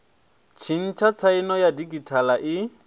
tshintsha tsaino ya didzhithala i